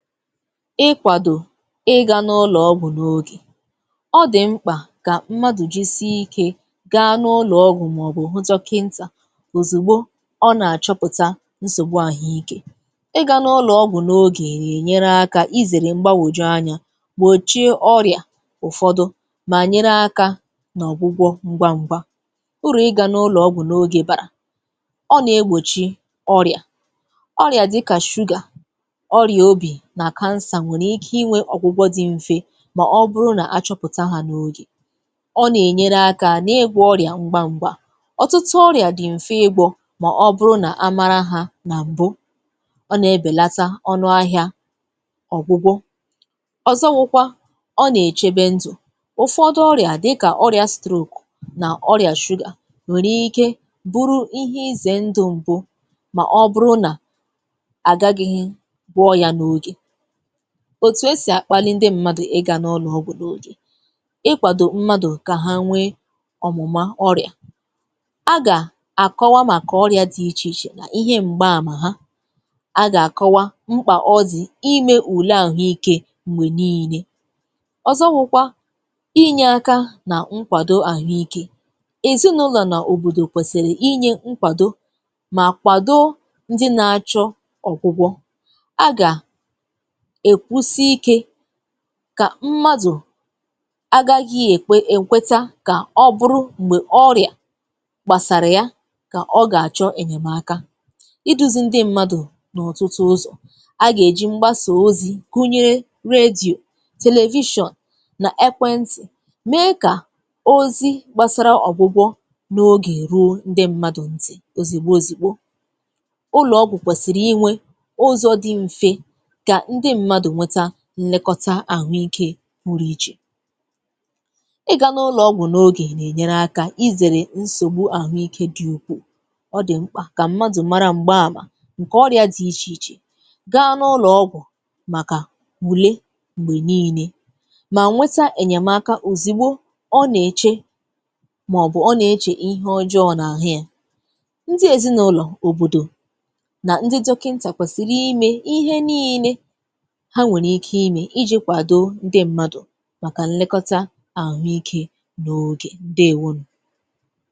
Ịkwàdò ịga n’ụlọ̀ ọgwụ n’ogè. Ọ dị̀ mkpà kà m̀madụ̀ jisie ike gaa n’ụlọ̀ ọgwụ màọbụ hụ dọ̀kị̀ǹtà òzìgbo ọ nà-achọ̀pụ̀tà nsògbu àhụike. Ịga n’ụlọ̀ ọgwụ n’ogè nà-enyere aka izèrè m̀gbàwòju anya gbòchie ọrịa ụ̀fọdụ mà nyere aka nà ọ̀gwụgwọ ǹgwa ǹgwa. Uru ịga n’ụlọ̀ ọgwụ n’ogè bàrà: ọ na-egbòchi ọrịa, ọrịa dịkà shuga, ọrịa obi na kánsá nwèrè ike inwe ọ̀gwụgwọ dị m̀fe mà ọ bụrụ nà achọpụ̀tà ha n'oge. Ọ nà-ènyereaka n’ịgwọ ọrịa ngwa ngwa; ọtụtụ ọrịa dị m̀fe ịgwọ mà ọ bụrụ a màrà ha nà m̀bụ. Ọ na-ebèlata ọnụ ahịa ọ̀gwụgwọ. Ọzọbụkwa ọ nà-echebe ndụ̀, ụfọdụ ọrịa dịkȧ ọrịa stroke nà ọrịa shuga nwèrè ike bụrụ ihe ize ndụ m̀bụ mà ọ bụrụ nà àgaghị̇ gwọọ ya n’ogè. Òtù esì àkpali ǹdị m̀madụ ịga n’ụlọ̀ ọgwụ n’ogè. Ịkwàdò m̀madụ kà ha nwee ọ̀mụ̀mà ọrịa; a gà-àkọwa màkà ọrịa dị ichè ichè nà ihe m̀gba àmà ha, a gà-àkọwa mkpà ọ dị̀ ime ùle àhụike m̀gbè niile. Ọzọwụkwa inye aka nà ǹkwàdò àhụike; èzinụlọ̀ nà òbòdò kwèsìrì inye ǹkwàdò mà kwàdóó ǹdị nà-achọ ọ̀gwụgwọ. A ga-ekwusike kà m̀madụ àgaghị èkwe èkweta kà ọ bụrụ m̀gbè ọrịa gbàsàrà yà kà ọ gà-achọ ènyèmaka. Ịduzi̇ ǹdị m̀madụ n’ọtụtụ ụzọ: a gà-èji m̀gbasa ozi̇ gunyere redio, television nà ekwe ntị̀ mee kà ozi gbàsara ọ̀gwụgwọ n’ogè ruo ǹdị m̀madụ ntị̀ òzìgbo òzìgbo. Ụlọ̀ ọgwụ̀ kwèsìrì inwe ụzọ dị mfe ka ndị mmadụ nwee nlekọ̀ta àhụ ike pụrụ ichè. Ịga n’ụlọ̀ ọgwụ̀ n’ogè nà-enyèrè aka izèrè nsògbu àhụike dị̇ ukwuu; ọ dị̀ m̀kpà kà mmadụ̀ mara m̀gbaamà ǹkè ọrịa dị̇ ichè ichè gaa n’ụlọ̀ ọgwụ̀ màkà ule m̀gbè niile, mà nwete ènyèmaka òzìgbo ọ nà-èché màọbụ̀ ọ nà-èchè ihe ọjọọ n’àhụ ya. Ndị èzinụlọ̀, òbòdò nà ndị dọkịntà kwèsìri ime ihe niile ha nwerike ime ị ji kwàdoo ndị m̀madụ màkà nlẹkọta àhụike n’ogè, ǹdeewonu.